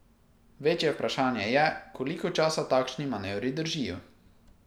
Večje vprašanje je, koliko časa takšni manevri držijo.